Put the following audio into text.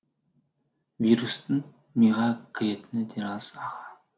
вирустың миға кіретіні де рас аға